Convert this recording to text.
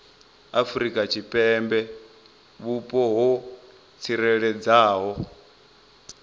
afrika tshipembe vhupo ho tsireledzeaho